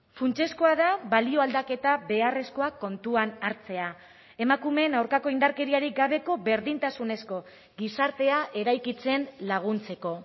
funtsezkoa da balio aldaketa beharrezkoa kontuan hartzea emakumeen aurkako indarkeriarik gabeko berdintasunezko gizartea eraikitzen laguntzeko